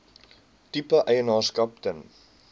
tipe eienaarskap ten